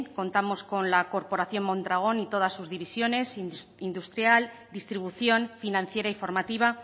contamos con la corporación mondragon y todas sus divisiones industrial distribución financiera y formativa